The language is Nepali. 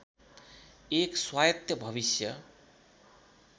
एक स्वायत्त भविष्य